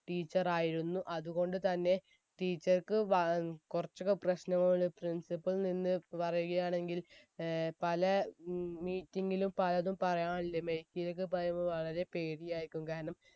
teacher ആയിരുന്നു അതുകൊണ്ട് തന്നെ teacher ക്ക് വ ഏർ കൊറച്ചൊക്കെ പ്രാശ്‌നമാണ് principal നിന്ന് പറയുകയാണെങ്കിൽ ഏർ പല ഉം meeting ലും പലതും പറയാനില്ലേ mike ഇലൊക്കെ പറയുമ്പോ വളരെ പേടിയായിരിക്കും കാരണം